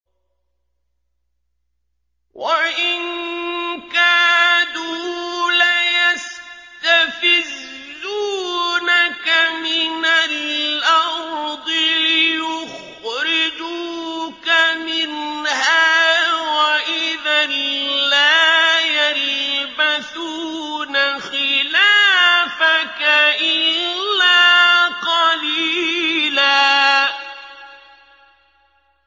وَإِن كَادُوا لَيَسْتَفِزُّونَكَ مِنَ الْأَرْضِ لِيُخْرِجُوكَ مِنْهَا ۖ وَإِذًا لَّا يَلْبَثُونَ خِلَافَكَ إِلَّا قَلِيلًا